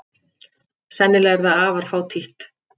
Sennilega er það afar fátítt.